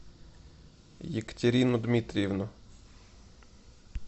екатерину дмитриевну